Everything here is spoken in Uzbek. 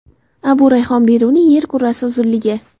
Abu Rayhon Beruniy yer kurrasi uzunligi.